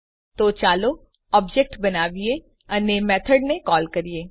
તો ચાલો ઓબ્જેક્ટ બનાવીએ અને મેથડને કોલ કરીએ